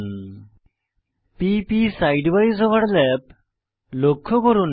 p প side উইসে overlap লক্ষ্য করুন